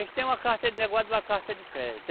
Eles têm uma carta de negócio e uma carta de crédito.